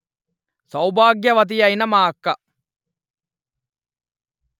సౌభాగ్యవతియైన మా అక్క